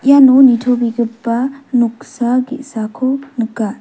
iano nitobegipa noksa ge·sako nika.